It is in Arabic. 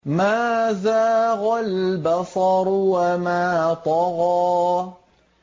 مَا زَاغَ الْبَصَرُ وَمَا طَغَىٰ